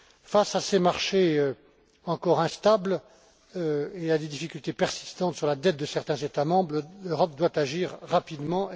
Face à ces marchés encore instables et à des difficultés persistantes sur la dette de certains États membres, l'Europe se doit d'agir rapidement